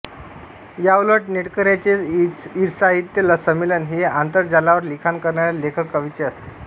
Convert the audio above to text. याउलट नेटकऱ्यांचे ईसाहित्य संमेलन हे आंतरजालावर लिखाण करणाऱ्या लेखककवींचे असते